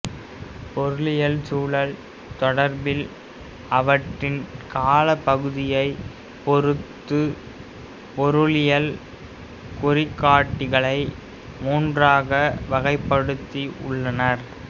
பொருளியல் சுழல் தொடர்பில் அவற்றின் காலப்பகுதியைப் பொறுத்து பொருளியல் குறிகாட்டிகளை மூன்றாக வகைப்படுத்தி உள்ளனர்